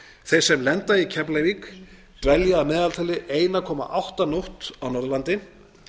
þeir sem lenda í keflavík dvelja að meðaltali einn komma átta nótt á norðurlandi